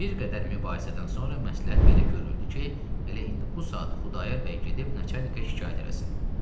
Bir qədər mübahisədən sonra məsləhət belə görüldü ki, elə indi bu saat Xudayar bəy gedib nəçərnikə şikayət eləsin.